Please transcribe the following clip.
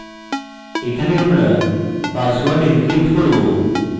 এখানে আমরা password encrypting করব